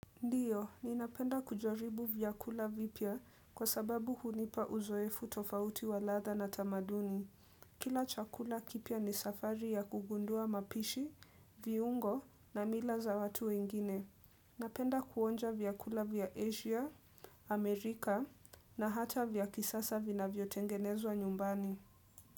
Ndiyo, ni napenda kujaribu vyakula vipya kwa sababu hunipa uzoefu tofauti wa ladha na tamaduni. Kila chakula kipya ni safari ya kugundua mapishi, viungo na mila za watu wengine. Napenda kuonja vyakula vya Asia, Amerika na hata vya kisasa vina vyotengenezwa nyumbani.